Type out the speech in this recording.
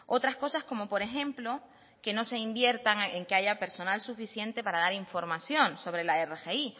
otras cosas como por ejemplo que no se invierta en que haya personal suficiente para dar información sobre la rgi